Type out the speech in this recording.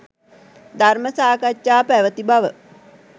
ධර්ම සාකච්ඡා පැවැති බව